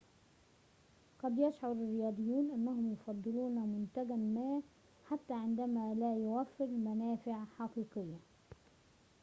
قد يشعر الرياضيون أنهم يفضلون منتجاً ما حتى عندما لا يوفر منافع حقيقية